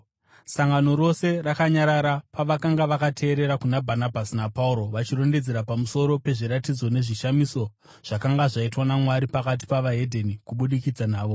Sangano rose rakanyarara pavakanga vakateerera kuna Bhanabhasi naPauro vachirondedzera pamusoro pezviratidzo nezvishamiso zvakanga zvaitwa naMwari pakati peveDzimwe Ndudzi kubudikidza navo.